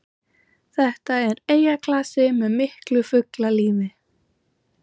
Þetta er eyjaklasi með miklu fuglalífi